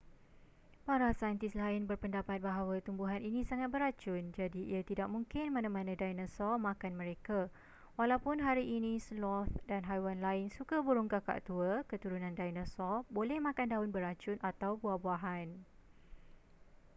para saintis lain berpendapat bahawa tumbuhan ini sangat beracun jadi ia tidak mungkin mana-mana dinosaur makan mereka walaupun hari ini sloth dan haiwan lain suka burung kakak tua keturunan dinosaur boleh makan daun beracun atau buah-buahan